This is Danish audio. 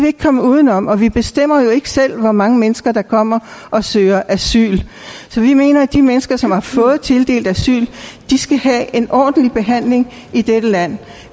ikke komme uden om og vi bestemmer jo ikke selv hvor mange mennesker der kommer og søger asyl så vi mener at de mennesker som har fået tildelt asyl skal have en ordentlig behandling i dette land